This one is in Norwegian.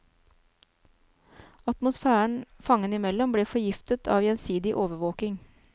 Atmosfæren fangene imellom ble forgiftet av gjensidig overvåking.